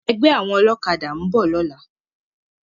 Ègbè áwòn òlòkàdá n bò lòlá